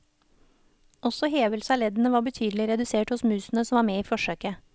Også hevelse av leddene var betydelig redusert hos musene som var med i forsøket.